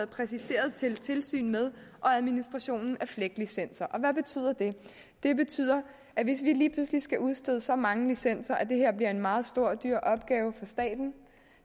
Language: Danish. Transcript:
præciseret til tilsyn med og administration af flegt licenser og hvad betyder det det betyder at hvis vi lige pludselig skal udstede så mange licenser at det her bliver en meget stor og dyr opgave for staten